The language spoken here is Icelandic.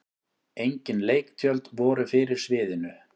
Engin leiktjöld voru fyrir sviðinu.